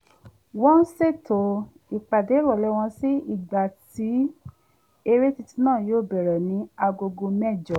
wọ́n ṣètò ipàdé ìròlé wọn sí ìgbà tí eré titun náà yóò bẹ̀rẹ ní agogo mẹ́jọ